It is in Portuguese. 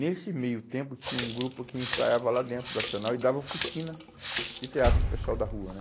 Nesse meio tempo tinha um grupo que ensaiava lá dentro do Arsenal e dava oficina de teatro para o pessoal da rua, né?